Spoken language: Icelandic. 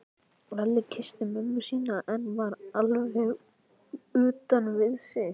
Lalli kyssti mömmu sína en var alveg utan við sig.